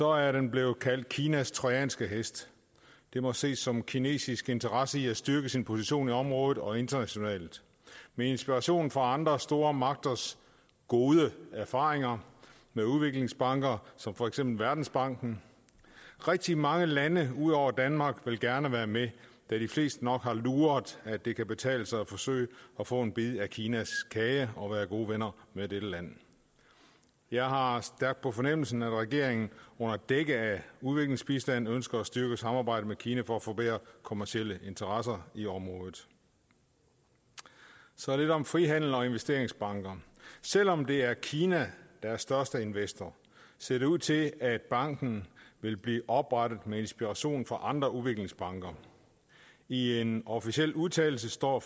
er den blevet kaldt kinas trojanske hest det må ses som en kinesisk interesse i at styrke sin position i området og internationalt med inspiration fra andre store magters gode erfaringer med udviklingsbanker som for eksempel verdensbanken rigtig mange lande ud over danmark vil gerne være med da de fleste nok har luret at det kan betale sig at forsøge at få en bid af kinas kage og være gode venner med dette land jeg har har stærkt på fornemmelsen at regeringen under dække af udviklingsbistanden ønsker at styrke samarbejdet med kina for at få bedre kommercielle interesser i området så lidt om frihandel og investeringsbanker selv om det er kina der er største investor ser det ud til at banken vil blive oprettet med inspiration fra andre udviklingsbanker i en officiel udtalelse står